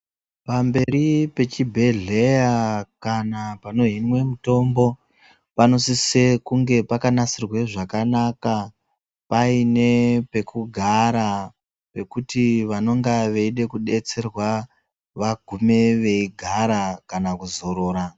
Pamberi pechibjedhleya kana panohinwe mitombo panosise kunge pakanasirwa zvakanaka paine pekugara pekuti vanenge veida kudetserwa vagume veigara kana kuzorora.